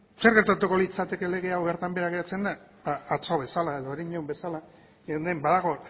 zer gertutako litzateke lege hau bertan behera geratzen bada atzo bezala edo herenegun bezala hemen badago